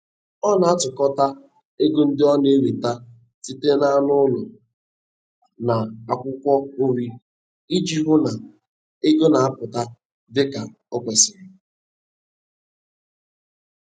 Ọ na-atụkọta ego ndị ọ na-enweta site n'anụ ụlọ na akwụkwọ nri iji hụ na ego na-aputa dịka o kwesịrị.